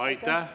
Aitäh!